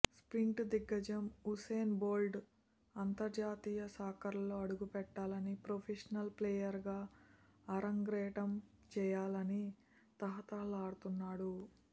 sprint దిగ్గజం Usain Bolt అంతర్జాతీయ సాకర్లో అడుగుపెట్టాలని ప్రొఫెషనల్ ప్లేయర్గా అరంగేట్రం చేయాలని తహతహలాడుతున్నాడు